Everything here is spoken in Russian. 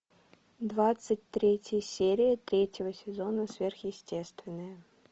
двадцать третья серия третьего сезона сверхъестественное